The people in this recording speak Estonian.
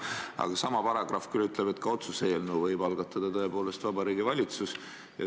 Aga sama paragrahv küll ütleb, et ka otsuse eelnõu võib algatada tõepoolest Vabariigi Valitsus.